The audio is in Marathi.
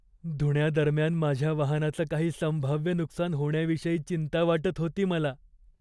धुण्यादरम्यान माझ्या वाहनाचं काही संभाव्य नुकसान होण्याविषयी चिंता वाटत होती मला.